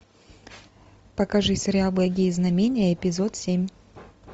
покажи сериал благие знамения эпизод семь